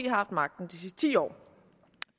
har haft magten de sidste ti år